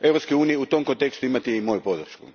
U tom kontekstu imate i moju podršku.